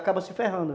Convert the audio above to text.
Acaba se ferrando.